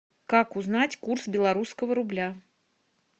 как узнать курс белорусского рубля